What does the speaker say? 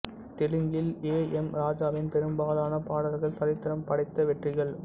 தெலுங்கில் A M ராஜாவின் பெரும்பாலான பாடல்கள் சரித்திரம் படைத்த வெற்றிகள்